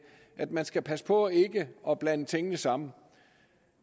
at man skal passe på ikke at blande tingene sammen